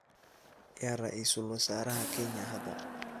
yaa ra’iisul wasaaraha Kenya hadda